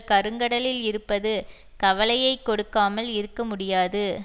கருங்கடலில் இருப்பது கவலையை கொடுக்காமல் இருக்க முடியாது